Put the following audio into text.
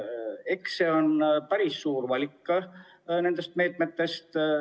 Tegemist on päris suure meetmete valikuga.